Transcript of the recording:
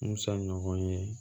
Musa ɲɔgɔn ye